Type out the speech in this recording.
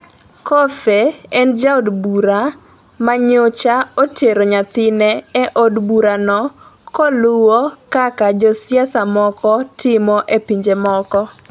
Coffey en jaod bura manyocha otero nyathine e od burano koluwo kaka josiasa moko timo e pinje moko